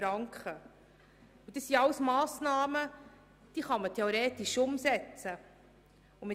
Es handelt sich dabei um Massnahmen, die man theoretisch umsetzen könnte.